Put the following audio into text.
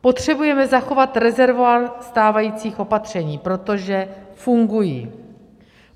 Potřebujeme zachovat rezervoár stávajících opatření, protože fungují.